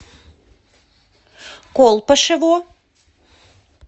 колпашево